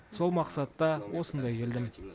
сол мақсатта осында келдім